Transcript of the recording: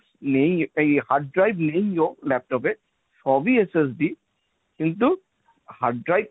নেই এই hard drive নেই ও laptop এ সব ই SST কিন্তু hard drive